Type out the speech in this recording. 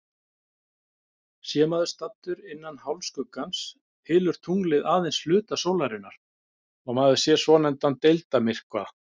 Sé maður staddur innan hálfskuggans, hylur tunglið aðeins hluta sólarinnar og maður sér svonefndan deildarmyrkva.